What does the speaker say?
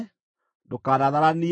“Ndũkanatharanie.